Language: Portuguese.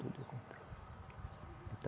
Tudo eu comprei.